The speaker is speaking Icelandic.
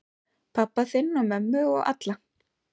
Pabba þinn og mömmu og alla.